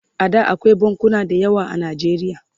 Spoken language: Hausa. A da akwai bankuna da yawa a najeriya